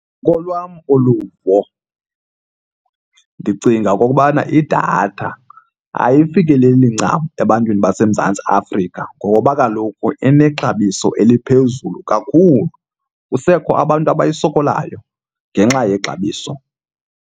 Ngokolwam uluvo ndicinga okokubana idatha ayifikeleli ncam ebantwini baseMzantsi Afrika ngoba kaloku inexabiso eliphezulu kakhulu. Kusekho abantu abayisokolayo ngenxa yexabiso.